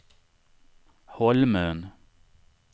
Holmön